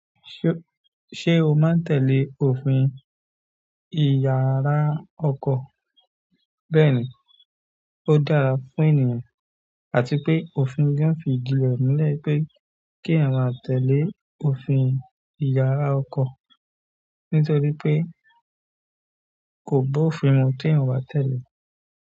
Ṣé o má ń tẹ̀lé òfin ìyara ọkọ̀? Bẹ́ẹ̀ni, ó dára fún ènìyàn àti pé òfin gan fi ìdi re mulẹ̀ pé kí èeyan má tẹ̀lé òfin ìyara ọkọ̀ nítorí pé kò bofin mu tí èeyan o bá tẹ̀lé.